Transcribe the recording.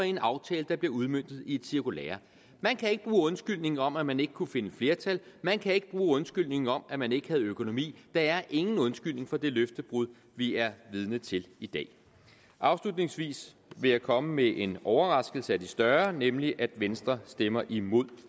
en aftale der bliver udmøntet i et cirkulære man kan ikke bruge undskyldningen om at man ikke kunne finde flertal man kan ikke bruge undskyldningen om at man ikke havde økonomi der er ingen undskyldning for det løftebrud vi er vidne til i dag afslutningsvis vil jeg komme med en overraskelse af de større nemlig at venstre stemmer imod